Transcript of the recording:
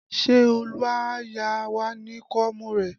Ṣé Olu á yá wá ní koomu rẹ?